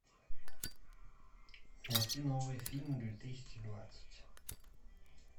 найти новые фильмы две тысячи двадцать